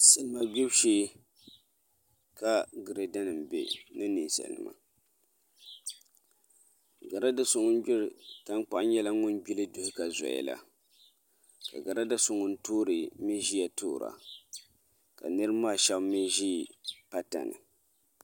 Salma gbubi shee ka grada nim bɛ ni ninsalnima grada so ŋun gbiri tankpaɣu nyɛla ŋun gbili duhi ka zoya la ka grada so ŋun toori mii ʒiya toora ka niraba maa shaba mii ʒi pata ni